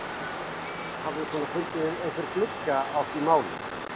Hafið þið svona fundið einhvern glugga í því máli?